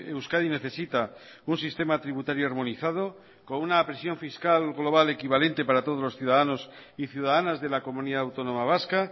euskadi necesita un sistema tributario armonizado con una presión fiscal global equivalente para todos los ciudadanos y ciudadanas de la comunidad autónoma vasca